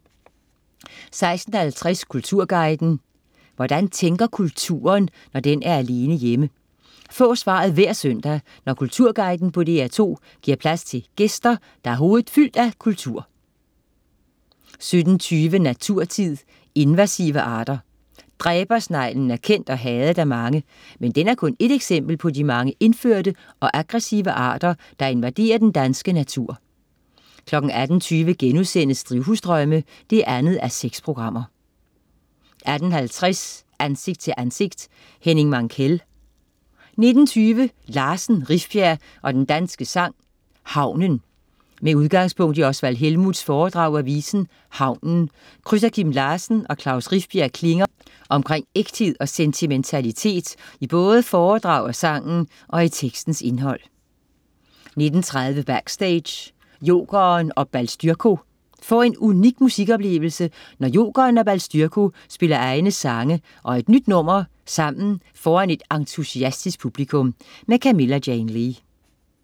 16.50 Kulturguiden. Hvordan tænker kulturen, når den er alene hjemme? Få svaret hver søndag, når Kulturguiden på DR2 giver plads til gæster, der har hovedet fyldt af kultur 17.20 Naturtid. Invasive arter. Dræbersneglen er kendt og hadet af mange. Men den er kun ét eksempel på de mange indførte og aggressive arter, der invaderer den danske natur 18.20 Drivhusdrømme 2:6* 18.50 Ansigt til ansigt: Henning Mankell 19.20 Larsen, Rifbjerg og Den Danske Sang: Havnen. Med udgangspunkt i Oswald Helmuths foredrag af visen "Havnen" krydser Kim Larsen og Klaus Rifbjerg klinger omkring ægthed og sentimentalitet i både foredrag af sangen og i tekstens indhold 19.30 Backstage: Jokeren & Balstyrko. Få en unik musikoplevelse når Jokeren og Balstyrko spiller egne sange og et nyt nummer sammen foran et entusiastisk publikum. Camilla Jane Lea